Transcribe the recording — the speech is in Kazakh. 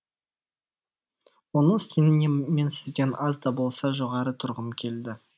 оның үстіне мен сізден аз да болса жоғары тұрғым келді